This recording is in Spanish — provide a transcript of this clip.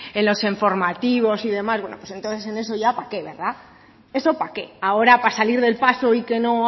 en los informativos y demás bueno pues entonces ya queda eso para qué ahora para salir del paso y que no